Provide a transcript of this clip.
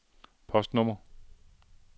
postnummer